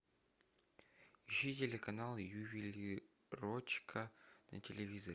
ищи телеканал ювелирочка на телевизоре